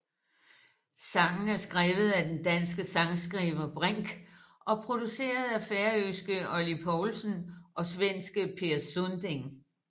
Sangen er skrevet af den danske sangskriver Brinck og produceret af færøske Óli Poulsen og svenske Per Sunding